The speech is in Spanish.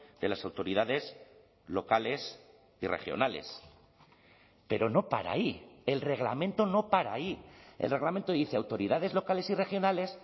de las autoridades locales y regionales pero no para ahí el reglamento no para ahí el reglamento dice autoridades locales y regionales